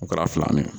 U kɛra fila minɛ